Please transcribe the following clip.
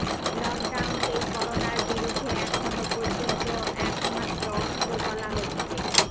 লকডাউনকেই করোনার বিরুদ্ধে এখনও পর্যন্ত একমাত্র অস্ত্র বলা হচ্ছে